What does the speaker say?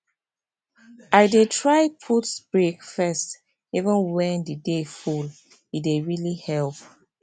i dey try put break first even when the day full e dey really help